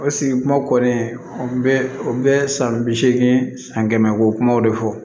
O sigi kuma kɔni an bɛ o bɛ san bi seegin san kɛmɛ wo kumaw de fɔ